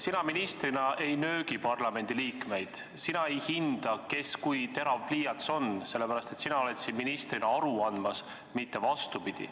Sina ministrina ei nöögi parlamendiliikmeid, sina ei hinda, kes kui terav pliiats on, sellepärast et sina oled siin ministrina aru andmas, mitte vastupidi.